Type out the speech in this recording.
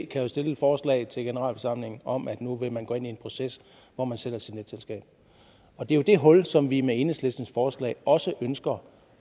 kan jo stille forslag til generalforsamlingen om at nu vil man gå ind i en proces om at sælge sit netselskab og det er jo det hul som vi med enhedslistens forslag også ønsker